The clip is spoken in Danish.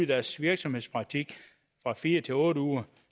deres virksomhedspraktik fra fire til otte uger